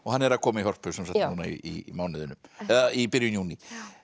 hann er að koma í Hörpu núna í mánuðinum eða í byrjun júní